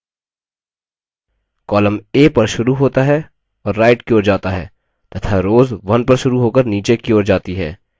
columns a पर शुरू होता है और right की ओर जाता है तथा rows 1 पर शुरू होकर नीचे की ओर जाती है